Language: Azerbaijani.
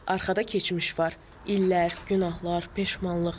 Arxada keçmiş var, illər, günahlar, peşmanlıq.